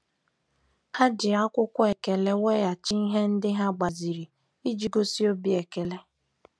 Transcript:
Ha ji akwụkwọ ekele weghachi ihe ndị ha gbaziri iji gosi obi ekele.